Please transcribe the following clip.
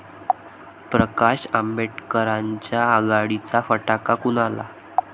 प्रकाश आंबेडकरांच्या आघाडीचा फटका कुणाला?